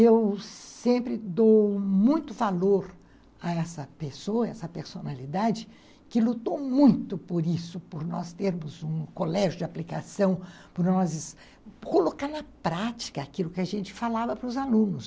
Eu sempre dou muito valor a essa pessoa, essa personalidade, que lutou muito por isso, por nós termos um colégio de aplicação, por nós colocarmos na prática aquilo que a gente falava para os alunos.